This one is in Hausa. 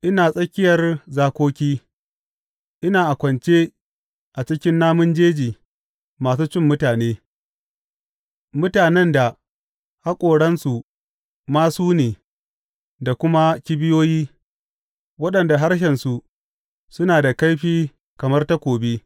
Ina tsakiyar zakoki; ina kwance a cikin namun jeji masu cin mutane, mutanen da haƙoransu masu ne da kuma kibiyoyi, waɗanda harshensu suna da kaifi kamar takobi.